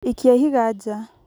ikia ihiga ja